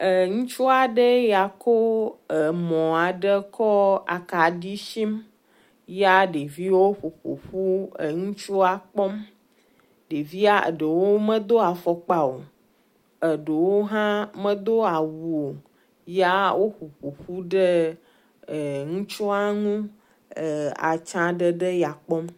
Eee...Ŋutsu aɖe ya kɔ emɔ aɖe ko akaɖi shim ya ɖeviwo ƒoƒoƒu eŋutsua kpɔm, ɖevia ɖewo medo afɔkpa o, aɖewo hã modo awu ya woƒoƒoƒu ɖe eŋutsu a ŋu ee atsa ɖeɖe ya kpɔm